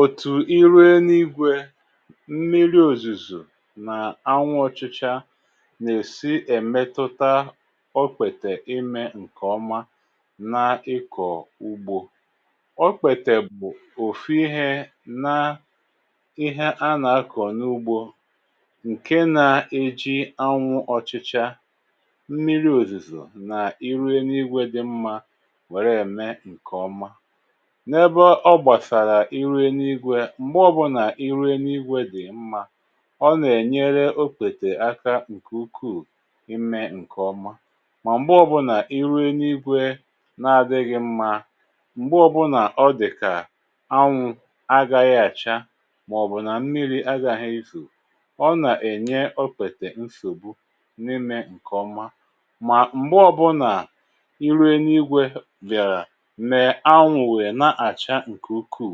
Otù iru éni igwė, mmiri òzuzo nà anwụ ọchịcha nà-èsi emetụta okpètè ime ǹkè ọma n’ịkọ̀ ugbȯ. Okpètè bụ̀ òfù ihė na ihé a nà-akọ̀ n’ugbȯ ǹke nȧ eji anwụ ọchịchȧ, mmiri òzùzo nà iru eni ìgwè dị mmȧ wèrè ème ǹkè ọma. Nà ébé ọ gbasara iru eni ìgwè mgbè ọ̀bụnà iru eni igwė dị̀ mmȧ, ọ nà-ènyere okpètè aka ǹkè ukuù ime ǹkè ọma mà m̀gbe ọ̀bụnà iru eni ìgwè na-adịghị̇ mmá, m̀gbè ọ̀bụnà ọ dị̀ kà anwụ̀ agaghị àcha màọ̀bụ̀ nà mmiri agȧghị̇ ezo, ọ nà-ènye okpètè nsògbu n’ime ǹkè ọma mà m̀gbe ọ̀bụnà iru eni igwė bị̀àrà mee anwụ wéé na acha nkè ukuù,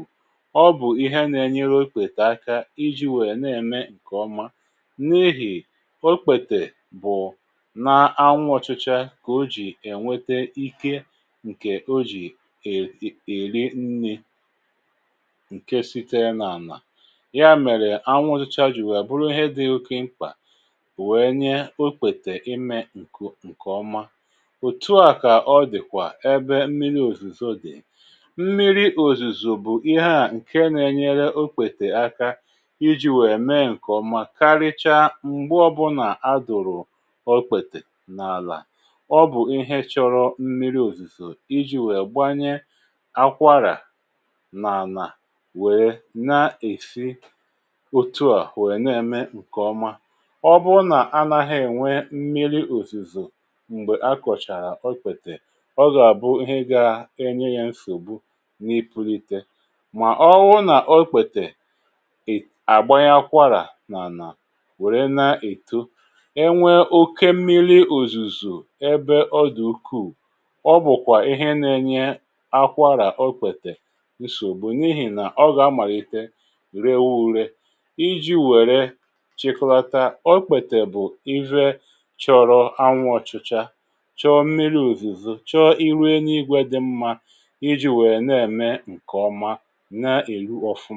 ọ bụ̀ ihé nà-enyere okpètè aka iji̇ wéé nà-ème ǹkè ọma n’ihì okpètè bụ̀ ná anwụ̇ ọchịcha kà o jì ènwete ike ǹkè o jì èri nni̇ ǹke site n’ànà. Yá mèrè, anwụ̇ ọchịcha ji wèrè bụrụ ihé dị̇ oke mkpà wèe nyé okpètè imė nko, ǹkè ọma. Otù á kà ọ dị̀ kwà ébé mmiri òzùzò dì, mmiri òzùzo bụ́ ihé á ǹke na-enyere okpètè aka iji wèe mee nkè ọmá karicha m̀gbe ọbụnà adụ̀rụ̀ okpètè n’àlà, ọ bụ̀ ihé chọrọ m̀miri òzùzò iji wèe gbanye akwarà n’ànà wèe na-èsi otu à wèe na-eme nkè ọma. Ọ bụ nà anaghị ènwe m̀miri òzùzò m̀gbè akọ̀chàrà okpètè, ọ gá bụ ihé gá enye yá nsògbu ni ipunite. Mà, ọwụ nà okpètè um àgbanye akwarà nà anà wèrè na-èto, enwė okė mmiri ùzùzù ẹbẹ ọ dị̀ ukuù, ọ bụ̀kwà ihé na-enye akwȧra- okpètè nsògbu n’ihì nà ọ gà-amàlite rewu ure. Iji̇ wère chikọlata, okpètè bụ̀ chọrọ anwụ̇ ọchịcha, chọọ mmiri ùzùzo, chọọ iru eni igwė dị mmȧ iji̇ wèe na-ème ǹkè ọma ǹa eru ọfụm.